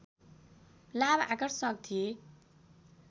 लाभ आकर्षक थिए